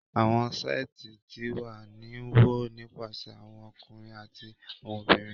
Awọn seeti ti wa ni wọ nipasẹ awọn ọkunrin ati awọn obinrin